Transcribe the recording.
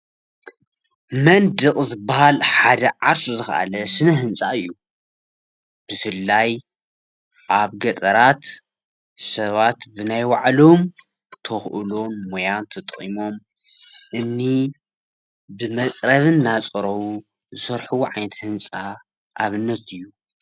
መንድቅ ዝበሃል ሓደ ዓርሱ ዝካኣለ ስም ህንፃ እዩ ብፋላይ ኣብ ገጠራት ሰባት በናይ ባዕሎም ተክእሎ ሞያን ተጠቂሞም እምኒ ብመፅረብ እናፀረቡ ዝሰርሕዎ ዓይነት ህንፃ ኣብነት እዩ፡፡